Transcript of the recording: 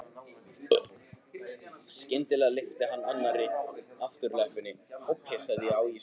Skyndilega lyfti hann annarri afturlöppinni og pissaði á ísskápinn.